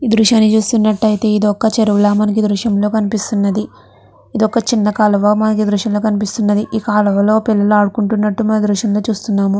ఈ దృశ్యాన్ని చూస్తున్నట్టయితే ఇదొక చెరువుల మనకి ఈ దృశ్యంలో కనిపిస్తున్నది. ఇదొక చిన్న కాలువ మనకు ఈ దృశ్యంలో కనిపిస్తున్నది. ఈ కాలవలో పిల్లలు ఆడుకుంటునట్టు మనము ఈ దృశ్యంలో చూస్తునము--